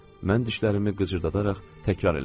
Mən dişlərimi qıcırdadaraq təkrar elədim.